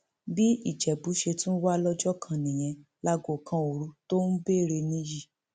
bí ìjẹbù ṣe tún wà lọjọ kan nìyẹn láago kan òru tó ń béèrè níyì